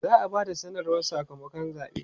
za'a Bada sanarwar Saka makon zaɓe